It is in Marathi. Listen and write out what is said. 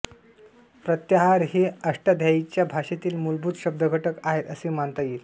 प्रत्याहार हे अष्टाध्यायीच्या भाषेतील मूलभूत शब्दघटक आहेत असे मानता येईल